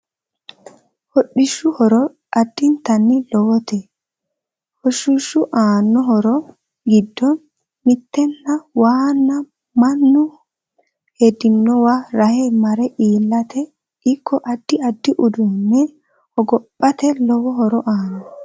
Hodhishu horo addintanni lowote hoshishu aano horo giddo mittena waana mannu hedinowa rahe mare iilate ikko addi addi uduune hogophate lowo horo aanno